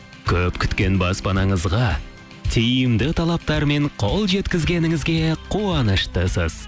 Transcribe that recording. көп күткен баспанаңызға тиімді талаптар мен қол жеткізгеніңізге қуаныштысыз